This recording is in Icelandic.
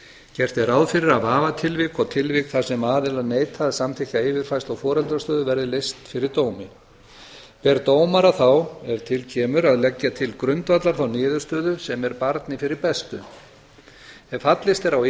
gert er ráð fyrir að vafatilvik og tilvik þar sem aðilar neita að samþykkja yfirfærslu á foreldrastöðu verði leyst fyrir dómi ber dómara þá ef til kemur að leggja til grundvallar þá niðurstöðu sem er barni fyrir bestu ef fallist er á